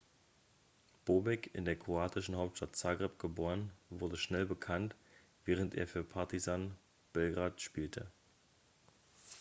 bobek in der kroatischen hauptstadt zagreb geboren wurde schnell bekannt während er für partizan belgrade spielte